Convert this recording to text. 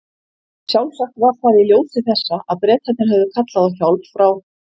Sjálfsagt var það í ljósi þessa að Bretarnir höfðu kallað á hjálp frá